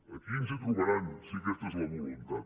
aquí ens hi trobaran si aquesta és la voluntat